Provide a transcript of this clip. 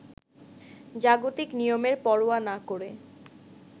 জাগতিক নিয়মের পরোয়া না করে